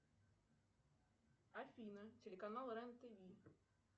афина телеканал рен тв